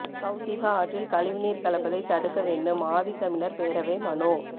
கவுசிகா ஆற்றில் கழிவுநீர் கலப்பதை தடுக்க வேண்டும் ஆதித்தமிழர் பேரவை மனு